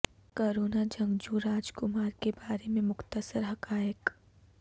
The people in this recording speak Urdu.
کورونا جنگجو راج کمار کے بارے میں مختصر حقائق